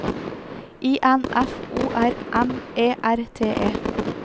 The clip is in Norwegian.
I N F O R M E R T E